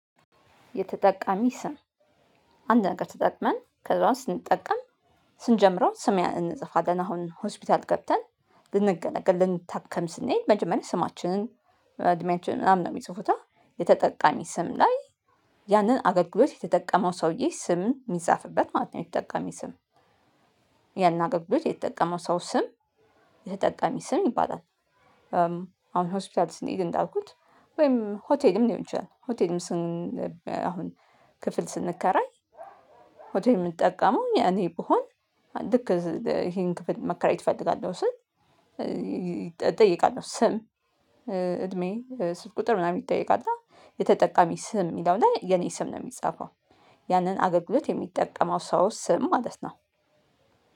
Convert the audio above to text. የተጠቃሚ ስም አንድ ነገር ተጠቅመን ከዛው ስንጠቀም ስንጀምረው ስም እንጽፋለን አሁን ሆስፒታል ገብተን ልንገለገል ልንታከም ስንሄድ መጀመሪያ ስማችንን እድሜያችንን ምናምን ነው የሚጽፉት የተጠቃሚ ስም ላይ ያንን አገልግሎት የተጠቀመው ሰውዬ ስም የሚጻፍበት ማለት ነው የተጠቀሚ ስም ያን አገልግሎት የተጠቀመው ሰው ስም የተጠቀሚ ስም ይባላል። አሁን ሆስፒታል ስንሄድ እንዳልኩት ወይም ሆቴልም ሊሆን ይችላል። ሆቴልም ስን አሁን ክፍል ስንከራይ ሆቴል ምንጠቀመው እኔ ብሆን ልክ ይሄን ክፍል መከራየት እፈልጋለሁ ስል እጠይቃለሁ ስም እድሜ ስት ቁጥር ምናምን ይጠይቃል። እና የተጠቃሚ ስም የሚለው ላይ የኔ ስም ነው የሚጻፈው ያንን አገልግሎት የሚጠቀመው ሰው ስም ማለት ነው